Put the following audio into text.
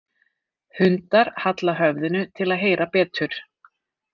Hundar halla höfðinu til að heyra betur.